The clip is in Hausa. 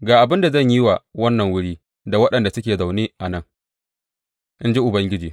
Ga abin da zan yi wa wannan wuri da waɗanda suke zaune a nan, in ji Ubangiji.